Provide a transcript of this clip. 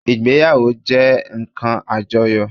Ìgbéyàwó jé nkan àjoyò